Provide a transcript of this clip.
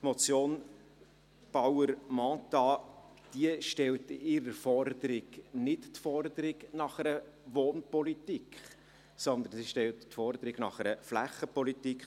Die Motion Bauer/Mentha stellt mit ihrer Forderung nicht die Forderung nach einer Wohnpolitik, sondern sie stellt die Forderung nach einer Flächenpolitik.